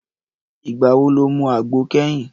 Ìgbà wo lo mu àgbo kẹ́yìn?